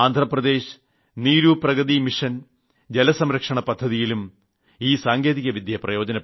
Andhra Pradesh Neeru Pragati mission ജലസംരക്ഷണ പദ്ധതിയിലും ഈ സാങ്കേതികവിദ്യ പ്രയോജനപ്പെടുത്തി